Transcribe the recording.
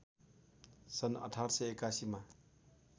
सन् १८८१ मा